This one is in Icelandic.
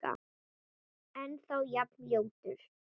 Ennþá jafn ljótur.